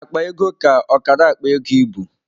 Akpa ego ka ọkara akpa ego ịbụ.